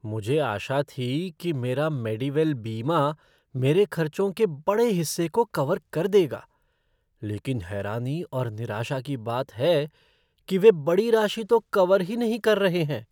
मुझे आशा थी कि मेरा मेडीवेल बीमा मेरे खर्चों के बड़े हिस्से को कवर कर देगा। लेकिन हैरानी और निराशा की बात है कि वे बड़ी राशि तो कवर ही नहीं कर रहे हैं।